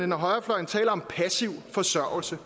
når højrefløjen taler om passiv forsørgelse